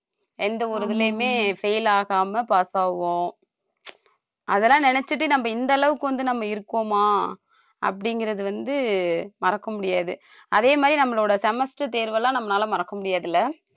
எந்த ஒரு இதுலயுமே fail ஆகாம pass ஆவோம் அதெல்லாம் நினைச்சுட்டு நம்ம இந்த அளவுக்கு வந்து நம்ம இருக்கோமா அப்படிங்கிறது வந்து மறக்க முடியாது அதே மாதிரி நம்மளோட semester தேர்வெல்லாம் நம்மளால மறக்க முடியாது இல்லை